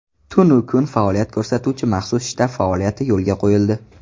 Tunu kun faoliyat ko‘rsatuvchi maxsus shtab faoliyati yo‘lga qo‘yildi.